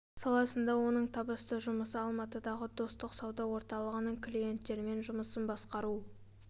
саласында оның табысты жұмысы алматыдағы достық сауда орталығының клиенттермен жұмысын басқару